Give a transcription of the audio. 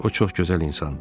O çox gözəl insandı.